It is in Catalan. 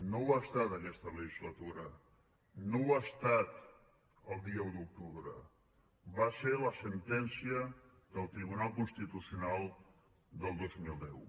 no ho ha estat aquesta legislatura no ho ha estat el dia un d’octubre va ser la sentència del tribunal constitucional del dos mil deu